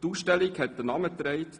Die Ausstellung trug den Namen «